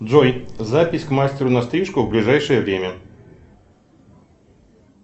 джой запись к мастеру на стрижку в ближайшее время